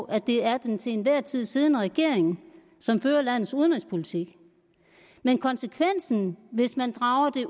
at det er den til enhver tid siddende regering som fører landets udenrigspolitik men konsekvensen hvis man drager det